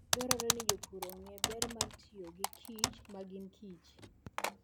Dwarore ni jopur ong'e ber mar tiyo gi kich ma ginkich.